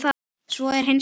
Svo er hins vegar ekki.